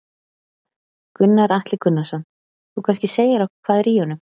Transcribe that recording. Gunnar Atli Gunnarsson: Þú kannski segir okkur hvað er í honum?